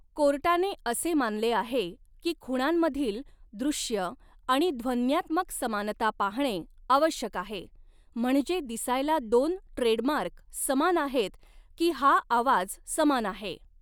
कोर्टाने असे मानले आहे की खुणांमधील दॄश्य आणि ध्वन्यात्मक समानता पाहणे आवश्यक आहे म्हणजे दिसायला दोन ट्रेडमार्क समान आहेत की हा आवाज समान आहे.